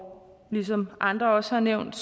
ligesom andre også har nævnt